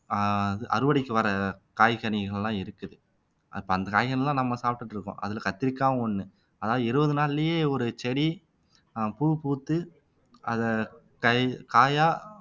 ஆஹ் அறுவடைக்கு வர்ற காய் கனிகள் எல்லாம் இருக்குது அப்ப அந்த காய்கறிகள்தான் நம்ம சாப்பிட்டுட்டிருக்கோம் அதுல கத்திரிக்காய்வும் ஒண்ணு அதாவது இருபது நாள்லயே ஒரு செடி ஆஹ் பூ பூத்து அதை கய் காயா